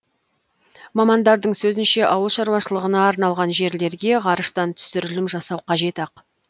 мамандардың сөзінше ауыл шаруашылығына арналған жерлерге ғарыштан түсірілім жасау қажет ақ